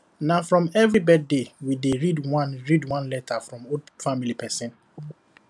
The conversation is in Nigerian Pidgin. na for every birthday we dey read one read one letter from old family person